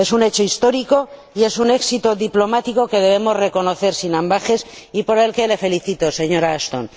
Es un hecho histórico y es un éxito diplomático que debemos reconocer sin ambages y por el que le felicito, señora Ashton.